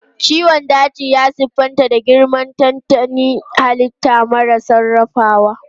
Ciwon daji ya siffanta da girmar tantanin halitta mara sarrafawa.